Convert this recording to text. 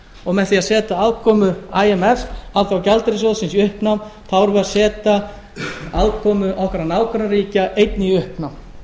og með því að setja afkomu imf alþjóðagjaldeyrissjóðsins í uppnám þá erum við að setja afkomu allra nágrannaríkja einnig í uppnám